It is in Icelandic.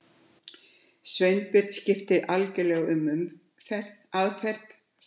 Sveinbjörn skipti algjörlega um aðferð.